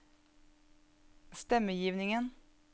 stemmegivningen